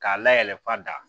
K'a layɛlɛn fa da